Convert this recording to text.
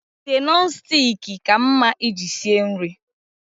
Ite Nọn stik ka mma iji sie nri